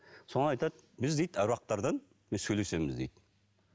соны айтады біз дейді аруақтардан сөйлесеміз дейді